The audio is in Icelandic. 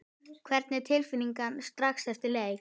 Hvernig var tilfinningin strax eftir leik?